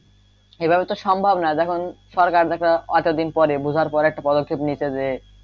এই ভাবে তো সম্ভব না যখন অতদিন পরে বোঝার পরে একটা পদক্ষেপ নিছে যে,